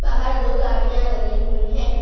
बाहर दो गाड़ियां लगी हुई हैं।